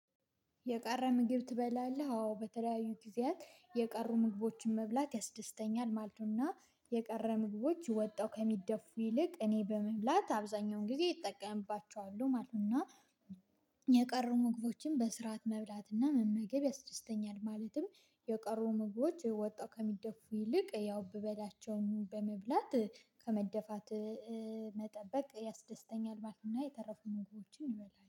የቀረ ምግብ ትበላለህ አዎ በተለያዩ ጊዜያት የቀሩ ምግቦችን መብላት ያስደስተኛል ማለት ነውና። የቀረ ምግቦች ወተው ከሚደፉ ይልቅ እኔ በመብላት አብዛኛውን ጊዜ እጠቀምባቸዋለው ማለት ነው። እና የቀሩ ምግቦችን በስርዓት መብላት እና መመገብ ያስደስተኛል ማለትም የቀሩ ምግቦች ወተው ከሚደፉ ይልቅ ያው ብበላቸውም በመብላት ከመደፋት መጠበቅ ያስደስተኛል ማለት ነው። እና የተረፉ ምግቦችን እበላልው